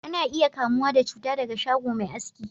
Ana iya kamuwa da cuta daga shago Mai aski